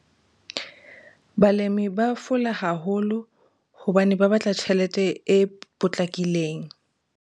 Balemi ba fola haholo, hobane ba batla tjhelete e potlakileng.